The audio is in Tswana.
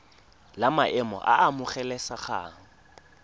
la maemo a a amogelesegang